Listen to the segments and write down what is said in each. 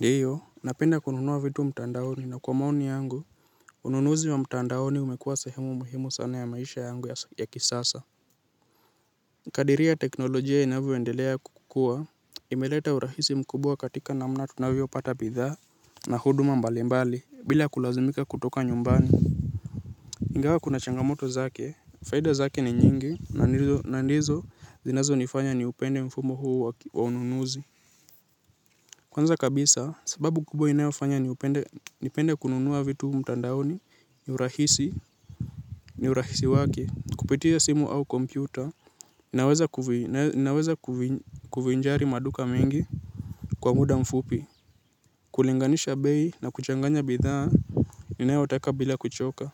Ndiyo, napenda kununua vitu mtandaoni na kwa maoni yangu, ununuzi wa mtandaoni umekuwa sahemu muhimu sana ya maisha yangu ya kisasa. Kadiria teknolojia inavyoendelea kukuwa, imeleta urahisi mkubwa katika namna tunavyo pata bidhaa na huduma mbalimbali, bila kulazimika kutoka nyumbani. Ingawa kuna changamoto zake, faida zake ni nyingi, na ndizo zinazo nifanya ni upende mfumo huu wa ununuzi. Kwanza kabisa, sababu kubwa inayofanya nipende kununua vitu mtandaoni, ni urahisi, ni urahisi wake, kupitia simu au kompyuta, inaweza kuvinjari maduka mengi kwa muda mfupi, kulinganisha bei na kuchanganya bidhaa, ninayotaka bila kuchoka.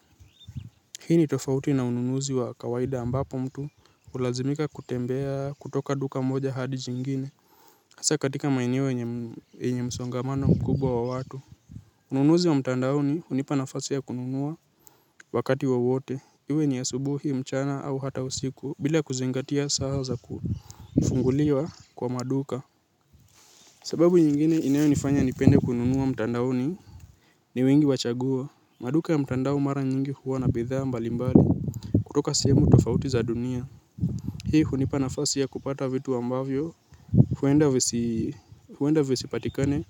Hii ni tofauti na ununuzi wa kawaida ambapo mtu, ulazimika kutembea kutoka duka moja hadi jingine. Hasa katika maeneo yenye msongamano mkubwa wa watu. Ununuze wa mtandaoni hunipa nafasi ya kununua wakati wowote. Iwe ni asubuhi mchana au hata usiku bila kuzengatia saa za kufunguliwa kwa maduka. Sababu nyingine inayonifanya nipende kununua mtandaoni. Ni wingi wa chagua. Maduka ya mtandao mara nyingi huwa na bidhaa mbali mbali. Kutoka sehemu tofauti za dunia. Hii hunipa nafasi ya kupata vitu ambavyo huenda visipatikane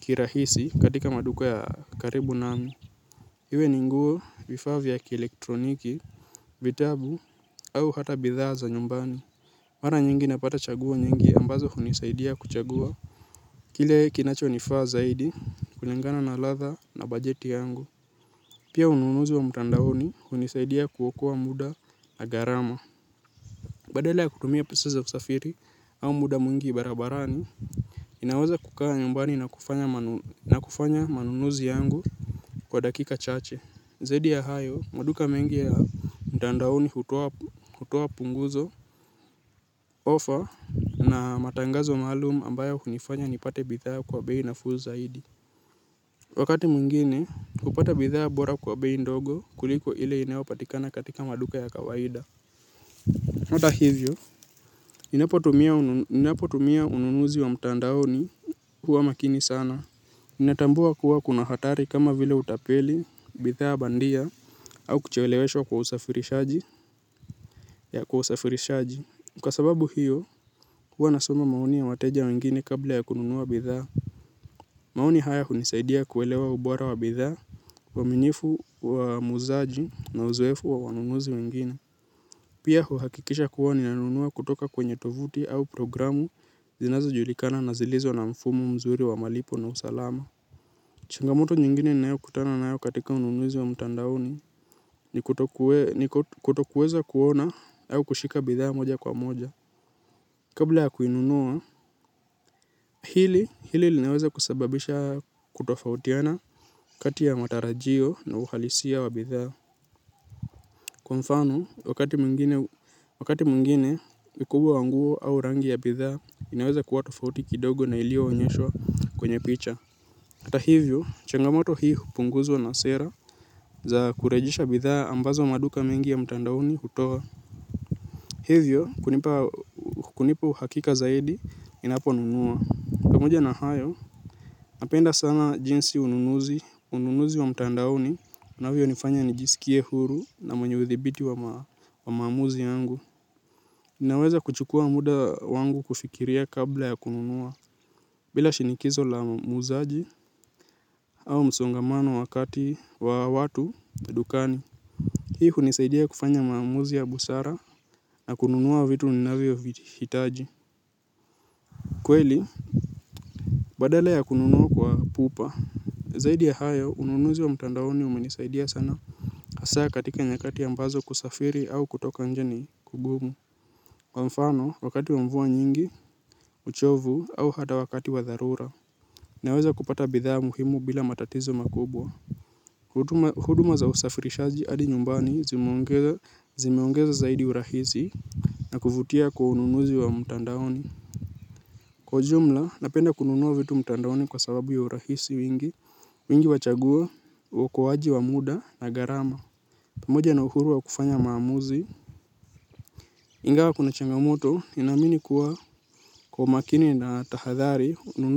kirahisi katika maduka ya karibu nami. Hiwe ni nguo vifaa vya kielektroniki, vitabu au hata bidhaa za nyumbani. Mara nyingi napata chagua nyingi ambazo hunisaidia kuchagua. Kile kinacho nifaa zaidi kulingana na latha na bajeti yangu. Pia ununuzi wa mtandaoni hunisaidia kuokoa muda na gharama. Badala ya kutumia pesa za kusafiri au muda mwingi barabarani, ninawaza kukaa nyumbani na kufanya manunuzi yangu kwa dakika chache. Zaidi ya hayo, maduka mengi ya mtandaoni hutoa punguzo. Ofa na matangazo maalum ambayo hunifanya nipate bidhaa kwa bei nafuu zaidi. Wakati mwingine kupata bidhaa bora kwa bei ndogo kuliko ile inayo patikana katika maduka ya kawaida hata hivyo, ninapo tumia ununuzi wa mtandaoni huwa makini sana ninatambua kuwa kuna hatari kama vile utapeli, bidhaa bandia, au kucheeleweshwa kwa usafirishaji ya kwa usafirishaji kwa sababu hiyo, huwa nasoma maoni ya wateja wengine kabla ya kununua bidhaa. Maoni haya hunisaidia kuelewa ubora wa bidhaa, uaminifu wa muzaji na uzoefu wa wanunuzi wengine. Pia huhakikisha kuwa ninanunua kutoka kwenye tovuti au programu zinazo julikana na zilizo na mfumo mzuri wa malipo na usalama. Changamoto nyingine ninayo kutana nayo katika ununuzi wa mtandaoni ni kutokuweza kuona au kushika bidhaa moja kwa moja. Kabla ya kuinunua hili hili lineweza kusababisha kutofautiana kati ya matarajio na uhalisia wa bidhaa. Kwa mfano wakati mwngine ukubwa wa nguo au rangi ya bidhaa inaweza kuwa tofauti kidogo na iliyo onyeshoa kwenye picha hata hivyo, changamoto hii hupunguzwa na sera za kurejisha bidhaa ambazo maduka mingi ya mtandaoni hutoa. Hivyo, kunipa uhakika zaidi ninaponunua. Pamoja na hayo, napenda sana jinsi ununuzi, ununuzi wa mtandaoni unavyonifanya nijisikie huru na mwenye uthibiti wa maamuzi yangu. Ninaweza kuchukua muda wangu kufikiria kabla ya kununua. Bila shinikizo la muuzaji au msongamano wa kati wa watu na dukani hii hunisaidia kufanya maamuzi ya busara na kununua vitu ninavyo vihitaji. Kweli, badala ya kununua kwa pupa, zaidi ya hayo, ununuzi wa mtandaoni umenisaidia sana hasa katika nyakati ambazo kusafiri au kutoka nje ni kugumu kwa mfano, wakati wa mvua nyingi, uchovu au hata wakati wa dharura. Naweza kupata bidhaa muhimu bila matatizo makubwa huduma za usafirishaji adi nyumbani zimeongeza zaidi urahisi na kuvutia kwa ununuzi wa mutandaoni kwa ujumla napenda kununua vitu mutandaoni kwa sababu ya urahisi wingi wingi wa chagua uokoaji wa muda na gharama pamoja na uhuru wa kufanya maamuzi ingawa kuna changamoto ninaamini kuwa kwa umakini na tahadhari ununuzi.